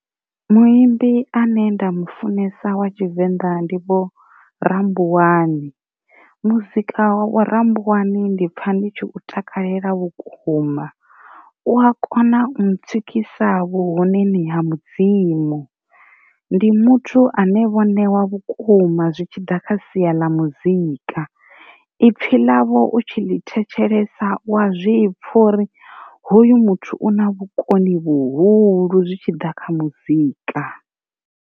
Muimbi ane nda mufunesa wa tshivenḓa ndi vho rambuwani, muzika wa vho rambuwani ndi pfha ndi tshi u takalela vhukuma u a kona u mu tswikisa vhu honeni ha mudzimu, ndi muthu ane vho newa vhukuma zwi tshi ḓa kha sia ḽa muzika, i pfhi ḽavho u tshi ḽi thetshelesa wa zwipfa uri hoyu muthu u na vhukoni vhuhulu zwi tshi ḓa kha muzika.